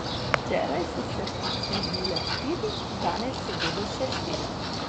Včeraj so se poslovile štiri, danes se bodo še štiri.